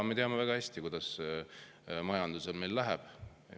Me teame väga hästi, kuidas majandusel läheb.